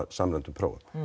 samræmdum prófum